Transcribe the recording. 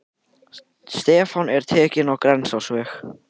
Stefnan er tekin á Grensásveg.